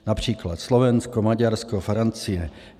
Například Slovensko, Maďarsko, Francie.